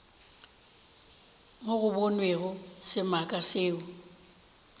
mo go bonwego semaka seo